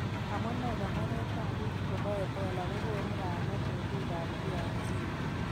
Amunee konoret ab bik chebo Ebola kokonu kaimet eng bik ab DRC.